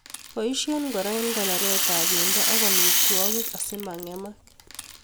Boishei kora eng konoret ab bendo ak amitwokik asimangemak